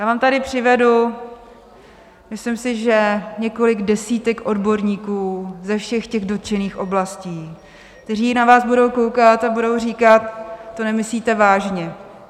Já vám tady přivedu, myslím si, že několik desítek odborníků, ze všech těch dotčených oblastí, kteří na vás budou koukat a budou říkat: To nemyslíte vážně.